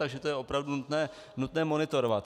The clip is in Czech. Takže to je opravdu nutné monitorovat.